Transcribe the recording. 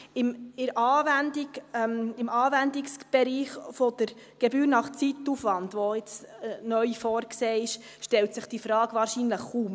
In der Anwendung, im Anwendungsbereich der Gebühr nach Zeitaufwand, die jetzt neu vorgesehen ist, stellt sich diese Frage wahrscheinlich kaum.